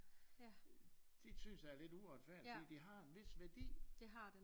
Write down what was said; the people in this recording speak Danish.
Det synes jeg er lidt uretfærdigt for det har en vis værdi